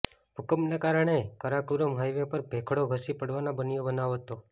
ભૂકંપના કારણે કારાકુરમ હાઈવે પર ભેખડો ધસી પડવાના બનાવો બન્યા હતા